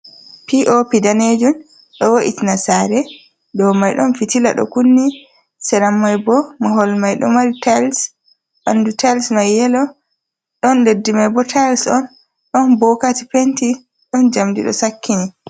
Popi danejun ɗo o wo’iti na sare dow mai ɗon fitila ɗo kunni sera maibo mahol mai ɗo mari tails ɓandu tails mai yelo ɗon leddi mai bo tiles on ɗon bokati penti ɗon jamdi do sakkini.